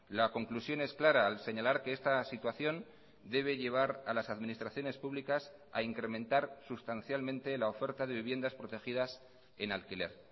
la conclusión es clara al señalar que esta situación debe llevar a las administraciones públicas a incrementar sustancialmente la oferta de viviendas protegidas en alquiler